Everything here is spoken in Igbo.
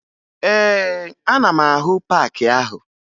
Ee, ana m ahụ paakị ahụ